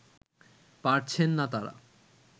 পারছেন না তারা